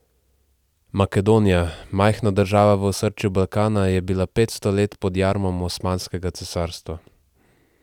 Makedonija, majhna država v osrčju Balkana, je bila petsto let pod jarmom Osmanskega cesarstva.